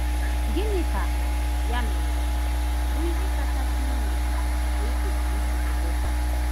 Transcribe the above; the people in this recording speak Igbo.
Gịnị ka, ya mere, bụ ihe kachasị uru anyị kwesịrị ịchụso inweta?